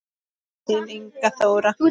Þín Inga Þóra.